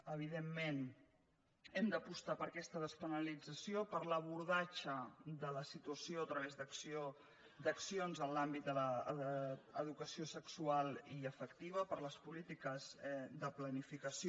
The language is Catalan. evidentment hem d’apostar per aquesta despenalització per l’abordatge de la situació a través d’accions en l’àmbit de l’educació sexual i afectiva per les polítiques de planificació